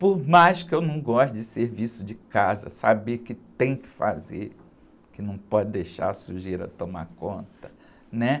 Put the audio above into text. Por mais que eu não goste de serviço de casa, saber que tem que fazer, que não pode deixar a sujeira tomar conta, né?